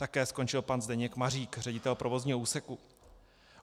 Také skončil pan Zdeněk Mařík, ředitel provozního úseku.